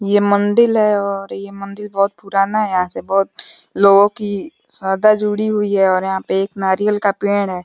ये मंदिल है और ये मंदिर बहोत पुराना है। यहां से बहोत लोगों की श्रद्धा जुड़ी हुई है और यहां पर एक नारियल का पेड़ है।